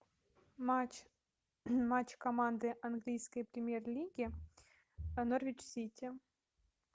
матч матч команды английской премьер лиги норвич сити